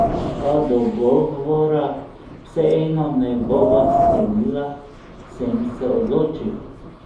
A dogovora vseeno ne bova sklenila, sem se odločil.